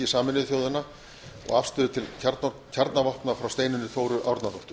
sameinuðu þjóðanna og afstöðu til kjarnavopna frá steinunni þóru árnadóttur